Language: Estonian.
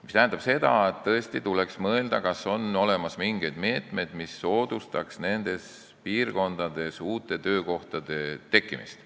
See tähendab, et tõesti tuleks mõelda, kas on olemas mingeid meetmeid, mis soodustaks nendes piirkondades uute töökohtade tekkimist.